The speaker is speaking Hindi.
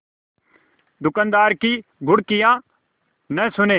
दुकानदार की घुड़कियाँ न सुने